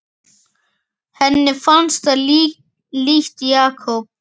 Henni fannst það líkt Jakob.